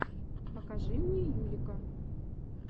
покажи мне юлика